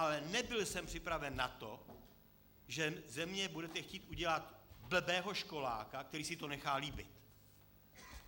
Ale nebyl jsem připraven na to, že ze mě budete chtít udělat blbého školáka, který si to nechá líbit.